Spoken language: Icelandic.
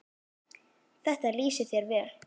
Þetta lýsir þér vel.